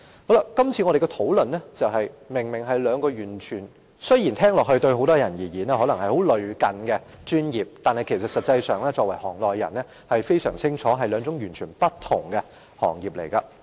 我們今天討論的兩個專業，雖然對於很多人來說相當類近，但作為行內人，我們相當清楚這是兩個完全不同的行業。